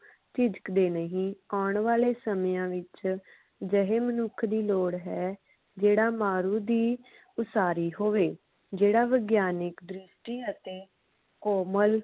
ਝਿਝਕਦੇ ਨਹੀਂ ਆਉਣ ਵਾਲੇ ਸਮਿਆਂ ਵਿਚ ਅਜਿਹੇ ਮਨੁੱਖ ਦੀ ਲੋੜ ਹੈ ਜਿਹੜਾ ਮਾਰੂ ਦੀ ਉਸਾਰੀ ਹੋਵੇ ਜਿਹੜਾ ਵਿਗਿਆਨਿਕ ਦ੍ਰਿਸ਼ਟੀ ਅਤੇ ਕੋਮਲ